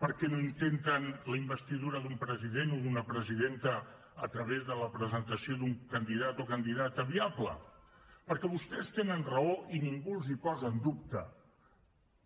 per què no intenten la investidura d’un president o d’una presidenta a través de la presentació d’un candidat o candidata viable perquè vostès tenen raó i ningú els ho posa en dubte